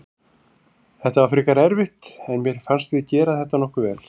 Þetta var frekar erfitt en mér fannst við gera þetta nokkuð vel.